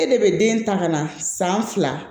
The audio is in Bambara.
E de bɛ den ta ka na san fila